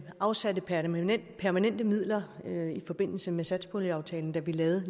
afsatte permanente permanente midler i forbindelse med satspuljeaftalen da vi lavede